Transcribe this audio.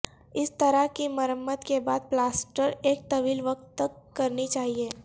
اس طرح کی مرمت کے بعد پلاسٹر ایک طویل وقت تک کرنی چاہئے